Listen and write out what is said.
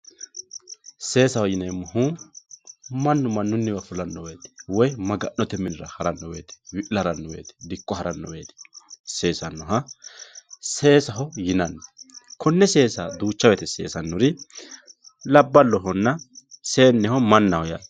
seesaho yineemmohu mannu mannunniwii fulanno woyiite woy maga'note minera haranno woyiite wi'la haranno woyiite dikko haranno woyiite seesannoha seesaho yinanni konne seesa duucha woyiite seesannori labballohonna seenneho mannaho yaate.